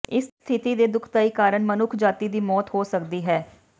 ਇਸ ਸਥਿਤੀ ਦੇ ਦੁਖਦਾਈ ਕਾਰਨ ਮਨੁੱਖਜਾਤੀ ਦੀ ਮੌਤ ਹੋ ਸਕਦੀ ਹੈ